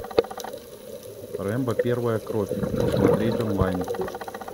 рэмбо первая кровь смотреть онлайн